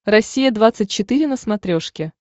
россия двадцать четыре на смотрешке